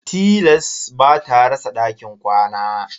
Tilas ba ta rasa dakin kwana.